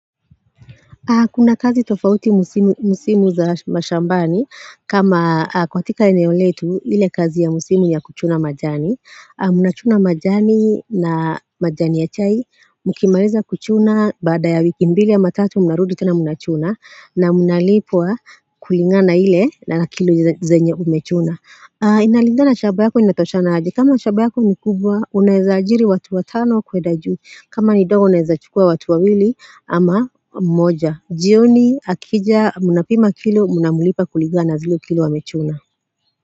Kuna kazi tofauti msimu za mashambani, kama katika eneo letu, ile kazi ya msimu ni ya kuchuna majani. Munachuna majani na majani ya chai, mukimaliza kuchuna baada ya wiki mbili ama tatu, muna rudi tena munachuna, na munalipwa kulingana na ile na kilo zenye umechuna. Inalingana shamba yako, inatoshana aje. Kama shamba yako ni kubwa, unaweza ajiri watu watano kuenda juu kama ni ndogo, unaeza chukua watu wawili ama moja. Jioni akija mna pima kilo mna mlipa kuligana na zile kilo amechuna.